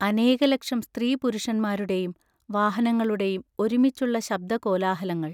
അനേകലക്ഷം സ്ത്രീപുരുഷന്മാരുടെയും വാഹനങ്ങളുടെയും ഒരുമിച്ചുള്ള ശബ്ദകോലാഹലങ്ങൾ.